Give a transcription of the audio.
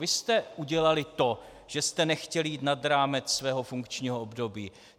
Vy jste udělali to, že jste nechtěli jít nad rámec svého funkčního období!